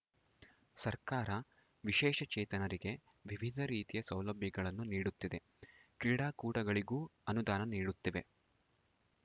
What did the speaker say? ಸರ್ಕಾರ ವಿಶೇಷಚೇತನರಿಗೆ ವಿವಿಧ ರೀತಿಯ ಸೌಲಭ್ಯಗಳನ್ನು ನೀಡುತ್ತಿದೆ ಕ್ರೀಡಾಕೂಟಗಳಿಗೂ ಅನುದಾನ ನೀಡುತ್ತಿವೆ